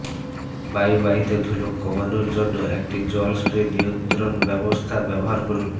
বায়ুবাহিত ধুলো কমানোর জন্য একটি জল স্প্রে নিয়ন্ত্রণ ব্যবস্থা ব্যবহার করুন